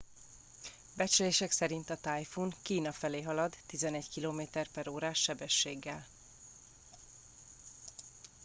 becslések szerint a tájfun kína felé halad 11 km/órás sebességgel